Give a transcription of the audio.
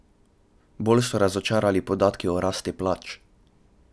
Bolj so razočarali podatki o rasti plač.